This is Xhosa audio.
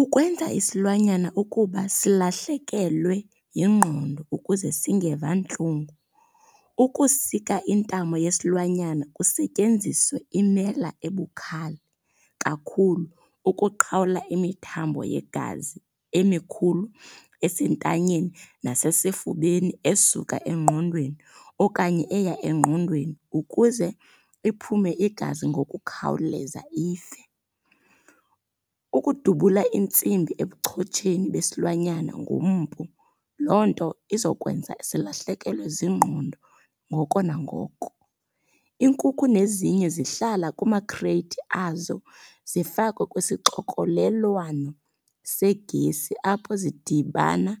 Ukwenza isilwanyana ukuba silahlekelwe yingqondo ukuze singeva ntlungu. Ukusika intamo yesilwanyana kusetyenziswe imela ebukhali kakhulu ukuqhawula imthambo yegazi emikhulu esentanyeni nasesifubeni esuka engqondweni okanye eya engqondweni ukuze iphume igazi ngokukhawuleza ife. Ukudubula intsimbi ebuchotsheni besilwanyana ngompu loo nto izokwenza silahlekelwe zingqondo ngoko nangoko. Inkukhu nezinye zihlala kumakhreyithi azo zifakwe kwisixokolelwano segesi, apho zidibana